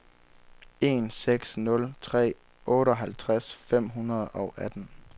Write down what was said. en seks nul tre otteoghalvtreds fem hundrede og atten